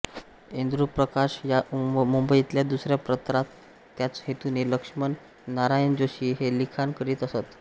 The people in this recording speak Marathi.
इंदुप्रकाश या मुंबईतल्या दुसऱ्या पत्रात त्याच हेतूने लक्ष्मण नारायण जोशी हे लिखाण करीत असत